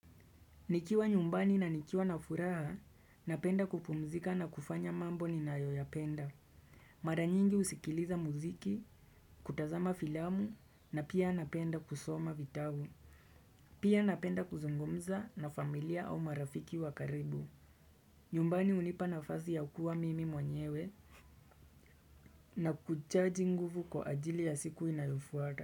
Nikiwa nyumbani na nikiwa na furaha, napenda kupumzika na kufanya mambo ninayo yapenda. Mara nyingi husikiliza muziki, kutazama filamu na pia napenda kusoma vitabu. Pia napenda kuzungumza na familia au marafiki wa karibu. Nyumbani hunipa na fasi ya kuwa mimi mwenyewe na kuchaji nguvu kwa ajili ya siku inayofuata.